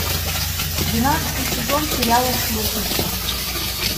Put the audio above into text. двенадцатый сезон сериала сплетница